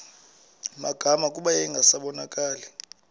magama kuba yayingasabonakali